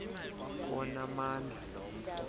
onamandla lo mfo